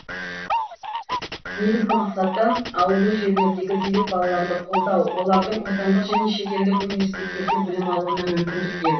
негізгі мақсаты ауылды жерлердегі зерек балаларды қолдау олардың отандық және шетелдік университеттерде білім алуына мүмкіндік беру